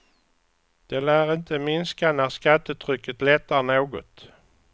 Det lär inte minska när skattetrycket lättar något.